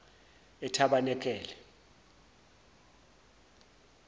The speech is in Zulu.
etabenekele